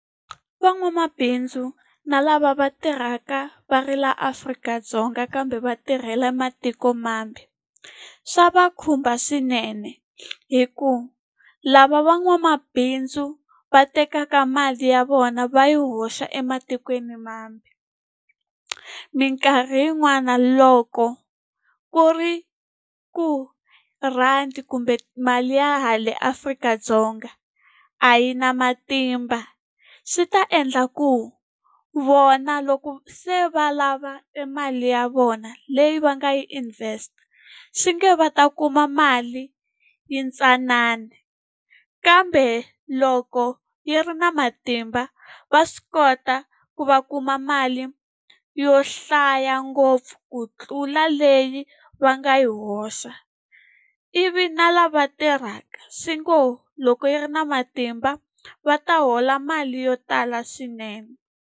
Van'wamabindzu na lava va tirhaka va ri laha Afrika-Dzonga kambe va tirhela matiko mambe, swa va khumba swinene. Hikuva lava van'wamabindzu va tekaka mali ya vona va yi hoxa ematikweni mambe, mikarhi yin'wana loko ku ri ku rhandi kumbe mali ya le Afrika-Dzonga a yi na matimba, swi ta endla ku vona loko se va lava emali ya vona leyi va nga yi invest-a, swi nge va ta kuma mali yi tsanana. Kambe loko yi ri na matimba va swi kota ku va kuma mali yo hlaya ngopfu ku tlula leyi va nga yi hoxa. Ivi na lava tirhaka, swi ngo loko yi ri na matimba va ta hola mali yo tala swinene.